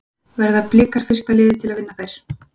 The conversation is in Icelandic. Verða Blikar fyrsta liðið til að vinna þær?